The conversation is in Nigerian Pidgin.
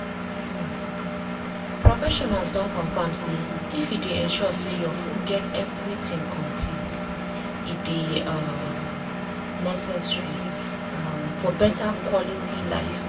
um professionals don confirm say if you dey ensure say your food get everything complete e dey um necessary um for beta quality life.